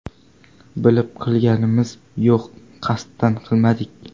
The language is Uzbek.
Bilib qilganimiz yo‘q, qasddan qilmadik.